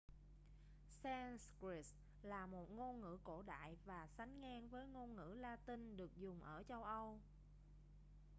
sanskrit là một ngôn ngữ cổ đại và sánh ngang với ngôn ngữ la-tinh được dùng ở châu âu